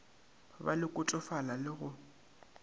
be le kotofala le go